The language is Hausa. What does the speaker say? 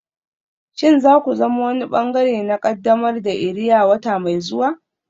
Shin za ku zama wani ɓangare na ƙaddamar da iria wata mai zuwa?